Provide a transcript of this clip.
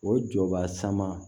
O jɔba sama